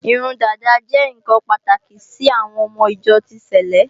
Irun dàda jẹ́ ǹkan pàtàkì sí àwọn ọmọ ìjọ ti sèlé